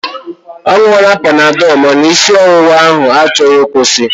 Ọ ṅụọla panadọl ma na isi ọwụwa ahụ achọghị ịkwụsi.